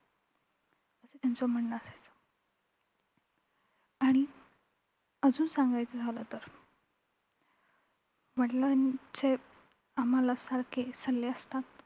असं त्यांचं म्हणणं असायचं आणि अजून सांगायचं झालं तर वडिलांचे आम्हांला सारखे सल्ले असतात.